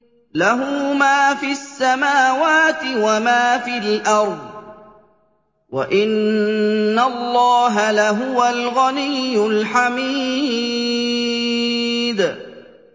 لَّهُ مَا فِي السَّمَاوَاتِ وَمَا فِي الْأَرْضِ ۗ وَإِنَّ اللَّهَ لَهُوَ الْغَنِيُّ الْحَمِيدُ